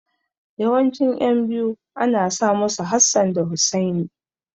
Yawancin ƴan biyu ana sa musu Hassan da Hussaini.